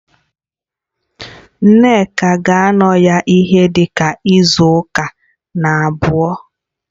Nneka ga-anọ ya ihe dịka izu ụka na-abịa